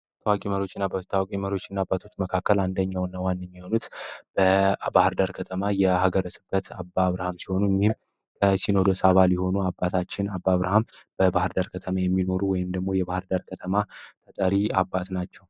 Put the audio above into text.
ታዋቂ መሪዎች እና ኣባቶች ታዋቂ መሪዎች እና ኣባቶች መካከል አንደኛው እነ ዋንኛውም በአባርዳር ከተማ የሀገረ ስብከት አባ አብርሃም ሲሆኑ ሲኖዶስ አባ ሊሆኑ አባታችን አባ አብርሃም በባህርዳር ከተማ የሚኖሩ ወይም ደግሞ የባህርዳር ከተማ ተጠሪ አባት ናቸው።